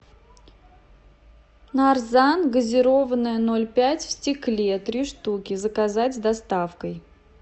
нарзан газированная ноль пять в стекле три штуки заказать с доставкой